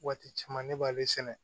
Waati caman ne b'ale sɛnɛ